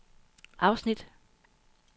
afsnit